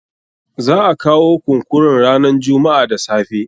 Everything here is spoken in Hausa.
Za a kawo kunkurun ranan jummu'a da safe.